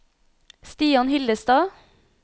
Stian Hillestad